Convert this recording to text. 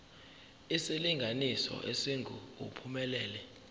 isilinganiso esingu uphumelele